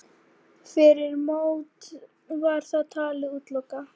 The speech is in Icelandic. Fyrir mót var það talið útilokað.